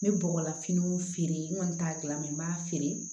N bɛ bɔgɔlafiniw feere n kɔni t'a gilan n b'a feere